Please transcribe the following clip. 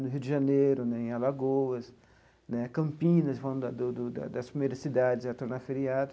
No Rio de Janeiro né, em Alagoas né, Campinas, uma do da das primeiras cidades a tornar feriado.